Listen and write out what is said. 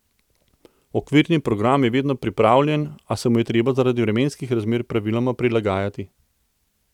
Okvirni program je vedno pripravljen, a se mu je treba zaradi vremenskih razmer praviloma prilagajati.